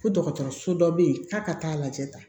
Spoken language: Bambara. Ko dɔgɔtɔrɔso dɔ bɛ yen k'a ka taa lajɛ